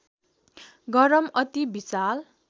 गरम अति विशाल